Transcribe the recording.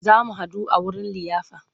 Za mu haɗu a wurin liyafar.